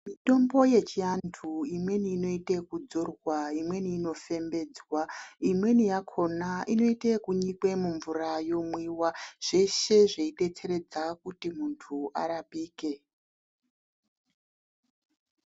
Mitombo yechiantu imweni inoite yekudzorwa, imweni inofembedzwa. Imweni yakona inoite yekunyikwe mumvura yomwiwa. Zveshe zveidetseredza kuti muntu arapike.